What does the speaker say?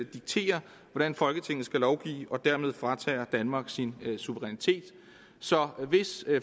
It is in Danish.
dikterer hvordan folketinget skal lovgive og dermed fratager danmark sin suverænitet så hvis